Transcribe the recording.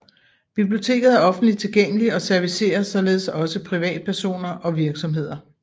Biblioteketet er offentligt tilgængeligt og servicerer således også privatpersoner og virksomheder